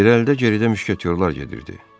İrəlidə, geridə müşketiyorlar gedirdi.